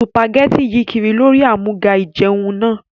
Sùpàgẹ́tì yí kiri lórí àmúga ìjẹun náà